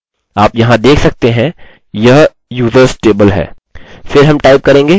आप यहाँ देख सकते हैं यह users टेबल है